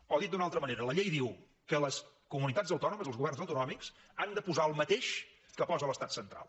o dit d’una altra manera la llei diu que les comunitats autònomes els governs autonòmics han de posar el mateix que posa el l’estat central